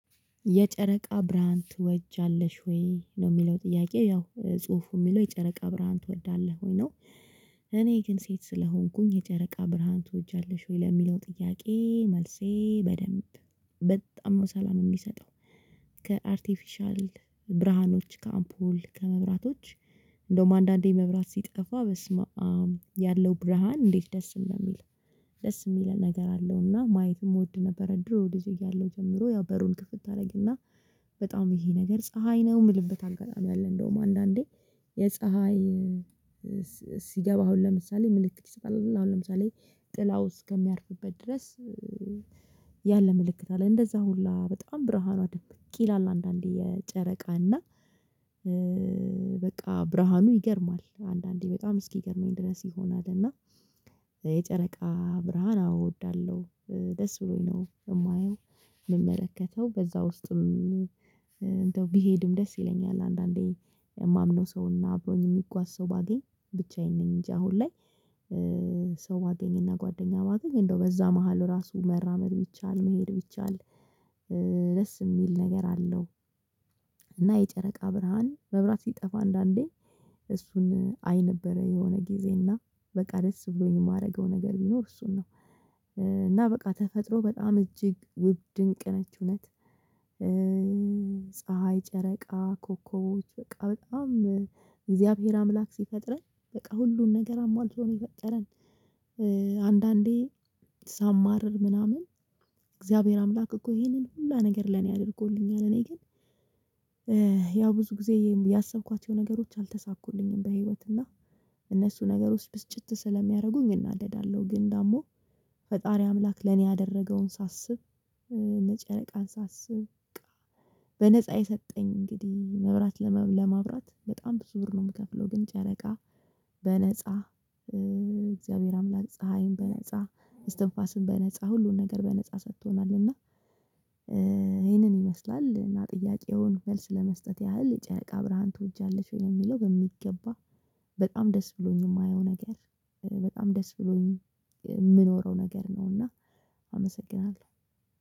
የጨረቃ ብርሃን ትወጃለሽ ወይ ነው የሚለው ጥያቄ ያው ጽሁፉ የሚለው የጨረቃ ብርሃን ትወዳለህ ወይ ነው? እኔ ግን ሴት ስለሆንኩኝ የጨረቃ ብርሃን ትወጃለሽ ወይ ለሚለው ጥያቄ መልሴ በደንብ በጣም ሰላም የሚሰጠው ከአርቲፊሻል ብርሃኖች ከአምፖል ከመብራቶች። እንደውም አንዳንዴ መብራት ሲጠፋ በስመ አም ያለው ብርሃን እንዴት ደስ እንደሚል ደስ የሚል ነገር አለውና ማየትም እወድ ነበረ። ድሮ ልጅ እያለሁ ጀምሮ ያው በሩን ክፍት አደረግና በጣም ይሄ ነገር ፀሀይ ነው የምልበት አጋጣሚ አለ። እንደውም አንዳንዴ የፀሀይ ሲገባ አሁን ለምሳሌ ምልክት ይሰጣል አሁን ለምሳሌ ጥላው እስከሚያርፍበት ድረስ። ያለ ምልክት አለ እንደዛ ሁላ በጣም ብርሃኗ ድንብቅ ይላል አንዳንዴ የጨረቃ እና በቃ ብርሃኑ ይገርማል አንዳንዴ በጣም እስኪገርመኝ ድረስ ይሆናል። እና የጨረቃ ብርሃን አወ እወዳለሁ ደስ ብሎኝ ነው የማየው። የምመለከተው በዛ ውስጥም ቢሄድም ደስ ይለኛል አንዳንዴ የማምነው ሰው እና አብሮኝ የሚጓዝ ሰው ባገኝ ብቻዬን ነኝ እንጂ አሁን ላይ። ሰው ባገኝ እና ጓደኛ ባገኝ እንደው በዛ መሃል ራሱ መራመድ ቢቻል መሄድ ቢቻል ደስ የሚል ነገር አለው። እና የጨረቃ ብርሃን መብራት ሲጠፋ አንዳንዴ እሱን አይ ነበረ የሆነ ጊዜና በቃ ደስ ብሎኝ የማደርገው ነገር ቢኖር እሱን ነው። እና በቃ ተፈጥሮ በጣም እጅግ ውብ ድንቅ ነች እውነት። ፀሀይ ጨረቃ ኮከቦች በቃ በጣም እግዚአብሔር አምላክ ሲፈጥረን በቃ ሁሉን ነገር አሟልቶ ነው የፈጠረን። አንዳንዴ ሳማርር ምናምን እግዚአብሔር አምላክ እኮ ይሄንን ሁላ ነገር ለኔ አድርጎልኛል እኔ ግን። ያ ብዙ ጊዜ ያሰብኳቸው ነገሮች አልተሳኩልኝም በህይወት እና እነሱ ነገሮች ብስጭት ስለሚያደርጉኝ እናደዳለሁ። ግን ደግሞ ፈጣሪ አምላክ ለኔ ያደረገውን ሳስብ እነ ጨረቃን ሳስብ በቃ በነፃ የሰጠኝ እንግዲህ መብራት ለማብራት በጣም ብዙ ብር ነው የምከፍለው። ግን ጨረቃ በነፃ እግዚአብሔር አምላክ ፀሀይን በነፃ እስትንፋስን በነፃ ሁሉን ነገር በነፃ ሰጥቶናል። እና ይሄንን ይመስላል እና ጥያቄውን መልስ ለመስጠት ያህል የጨቃ ብርሃን ትወጃለሽ? ወይ ለሚለው በሚገባ በጣም ደስ ብሎኝ የማየው ነገር በጣም ደስ ብሎኝ የምኖረው ነገር ነው። እና አመሰግናለሁ።